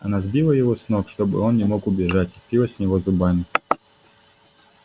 она сбила его с ног чтобы он не мог убежать впилась в него зубами